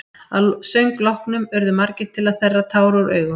Að söng loknum urðu margir til að þerra tár úr augum.